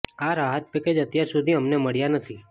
આ રાહત પેકેજ અત્યાર સુધી અમને મળ્યા નથી